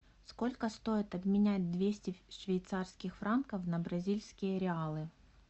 сколько стоит обменять двести швейцарских франков на бразильские реалы